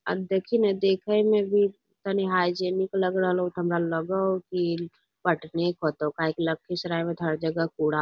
आ देखी ने देखे मे भी तनी हाइजीनिक लग रहलो ये हमरा लगे होअ की पटने के होएते किया की लखीसराय के हर जगह कूड़ा --